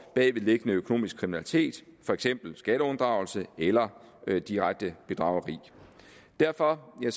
bagvedliggende økonomisk kriminalitet for eksempel skatteunddragelse eller direkte bedrageri derfor er